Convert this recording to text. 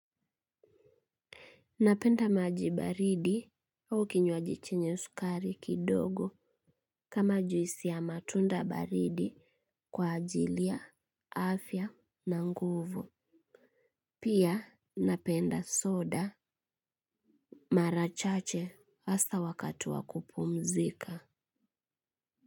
Napenda maji baridi au kinywaji chenye sukari kidogo kama juisi ya matunda baridi kwa ajili ya, afya na nguvu. Pia napenda soda mara chache hasta wakati wa kupumzika.